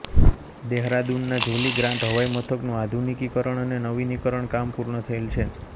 દહેરાદૂનના જોલી ગ્રાંટ હવાઈમથકનું આધુનિકીકરણ અને નવીનીકરણ કામ પૂર્ણ થયેલ છે